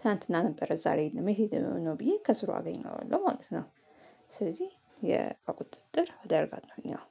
ትላንትና ነበረ ዛሬ የለም። የት ሄዶ ነው? ብዬ ከስሩ አገኘዋለሁ ማለት ነው። ስለዚህ የእቃ የቁጥጥር አደርጋለሁኝ ያው